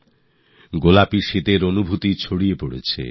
হাল্কা হাল্কা ঠাণ্ডা এখনই অনুভব করছি